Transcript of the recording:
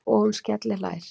Og hún skellihlær.